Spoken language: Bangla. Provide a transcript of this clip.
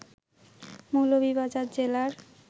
মৌলভীবাজার জেলার